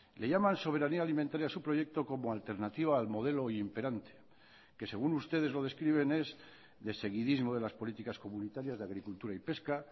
le llaman soberanía alimentaria a su proyecto como alternativa al modelo imperante que según ustedes lo describen es de seguidismo de las políticas comunitarias de agricultura y pesca